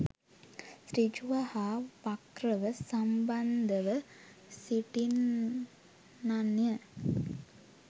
සෘජුව හා වක්‍රව සම්බන්ධව සිටින්නන් ය.